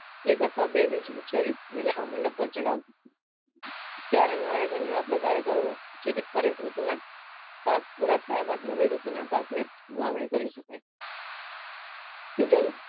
એક અથવા બે બીજ ઉછેરી મંડપ પર ચડાવવું ક્યારા નું આયોજન એવા પ્રકારે કરવું જેથી દરેક ઋતુ ના પાક પુરા થયા બાદ નવી ઋતુ ના પાક ની વાવણી કરી શકાય